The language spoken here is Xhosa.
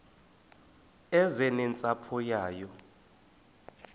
eze nentsapho yayo